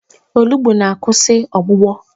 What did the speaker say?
Olugbu na-akwụsị ọgbụgbọ.